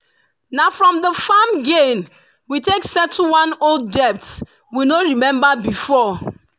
na from the farm gain we take settle one old debt we no remember before.